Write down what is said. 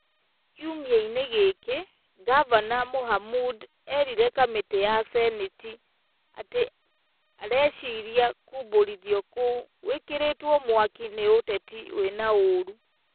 Kiumia-inĩ gĩkĩ, Ngavana Mohamud eerire kamĩtĩ ya Seneti atĩ areciria kũmbũrithio kou gwĩkĩrĩtwo mwaki nĩ ũteti wĩ na ũũru.